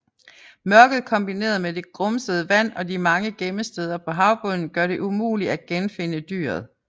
Mørket kombineret med det grumsede vand og de mange gemmesteder på havbunden gør det umuligt at genfinde dyret